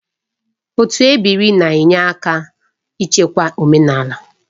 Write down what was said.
Otu ebiri na-enyere aka n'ichekwa omenala